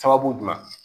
Sababu jumɛn